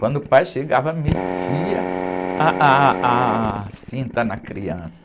Quando o pai chegava, metia ah, ah, a cinta na criança.